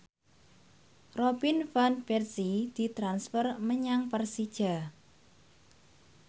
Robin Van Persie ditransfer menyang Persija